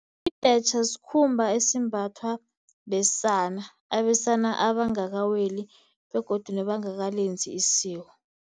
Ibhetjha sikhumba esimbathwa besana, abesana abangakaweli begodu nabangakalenzi isiko.